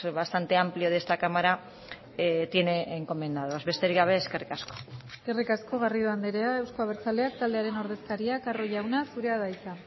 bastante amplio de esta cámara tiene encomendados besterik gabe eskerrik asko eskerrik asko garrido andrea euzko abertzaleak taldearen ordezkaria carro jauna zurea da hitza